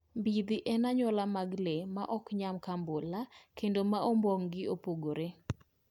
Mbidhi en anyuola mag le ma ok nyam kambula, kendo ma ombong'gi opogore